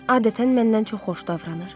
Adətən məndən çox xoş davranır.